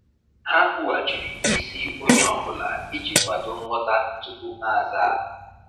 Ha kwughachiri isi ihe onye ọ bụla iji kwado nghọta tupu ha azaa.